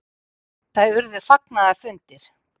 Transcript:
Það urðu fagnaðarfundir.